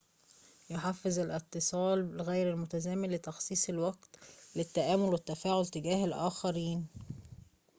يحفّز الاتصال غير المتزامن لتخصيص الوقت للتأمل والتفاعل تجاه الآخرين